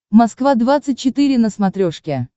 москва двадцать четыре на смотрешке